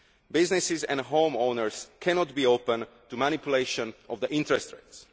Businesses and home owners cannot be open to manipulation of the interest rates.